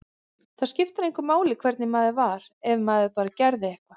Það skipti engu máli hvernig maður var, ef maður bara gerði eitthvað.